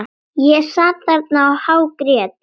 Ég sat þarna og hágrét.